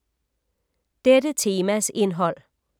Dette temas indhold